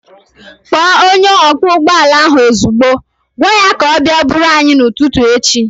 Kpọọ onye ọkwọ ụgbọala ahu ozigbo! Gwaa ya ka ọ bịa buuru anyị n'ụtụtụ echi